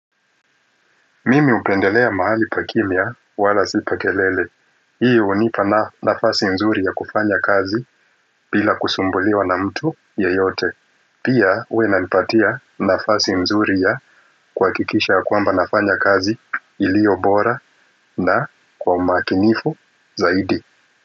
Mimi hupendelea mahali pa kimia wala sipakelele. Hii hunipa nafasi mzuri ya kufanya kazi bila kusumbuliwa na mtu yoyote. Pia huwa inanipatia nafasi mzuri ya kuhakikisha ya kwamba nafanya kazi ilio bora na kwa umakinifu zaidi.